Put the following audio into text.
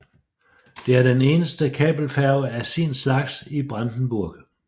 Det er den eneste kabelfærge af sin slags i Brandenburg